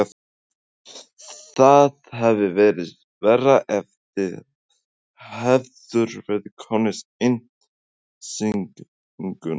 Páll: Það hefði verið verra ef þið hefðuð verið komnir í innsiglinguna?